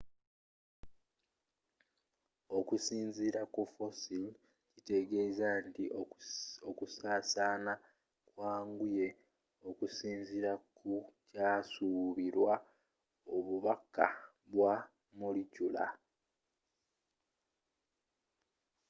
okusinziila kufossil kitegeeza nti okusaasana kwanguye okusinziira kukyasuubirwa obukakafu bwa molecular